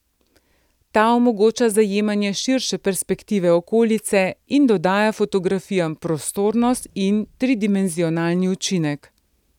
Ta omogoča zajemanje širše perspektive okolice in dodaja fotografijam prostornost in tridimenzionalni učinek.